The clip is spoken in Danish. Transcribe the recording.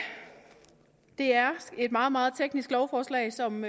det er et meget meget teknisk lovforslag som